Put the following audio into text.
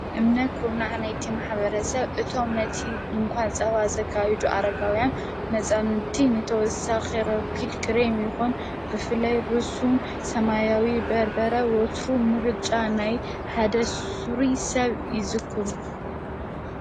እምነ ዂርናሕናይቲመኅበረ ሰብ እቶም ነቲ ድንኳን ጸባ ዘካሂዱ ኣረጋውያን መፃንቲ ነተወሳ ኺረጕድ ክሬም ይኹን ብፍለይ ርሱን ሰማያዊ በርበረ ወትሩ ምርጫ ናይ ሃደሱር ሰብ ይዝክሩ።